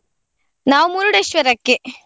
ನಾವ್ Murudeshwara ಕ್ಕೆ.